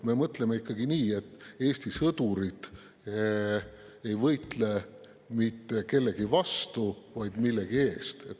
Me mõtleme ikkagi nii, et Eesti sõdurid ei võitle mitte kellegi vastu, vaid millegi eest.